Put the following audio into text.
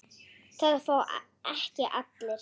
Það fá ekki allir.